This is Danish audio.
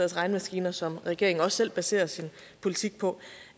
regnemaskiner som regeringen også selv baserer sin politik på